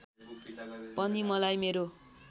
पनि मलाई मेरो